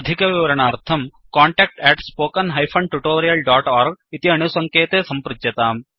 अधिकविवरणार्थं contact spoken tutorialorg इति अणुसङ्केते सम्पृच्यताम्